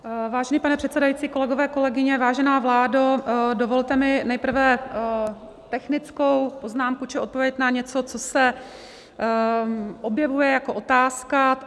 Vážený pane předsedající, kolegové, kolegyně, vážená vládo, dovolte mi nejprve technickou poznámku či odpověď na něco, co se objevuje jako otázka.